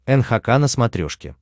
нхк на смотрешке